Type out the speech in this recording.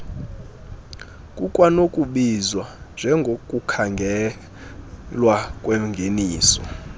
kukwanokubizwa njengokukhangelwa kwengeniso